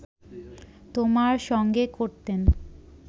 তোমার সঙ্গে করতেন